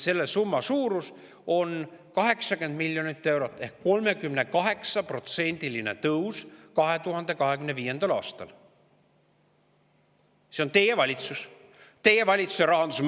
Selle summa suurus on 80 miljonit eurot ehk 2025. aastal on 38%‑line tõus.